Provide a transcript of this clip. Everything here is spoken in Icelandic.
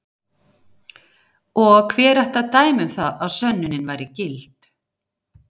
Og hver ætti að dæma um það að sönnunin væri gild?